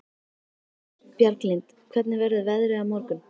Bjarglind, hvernig verður veðrið á morgun?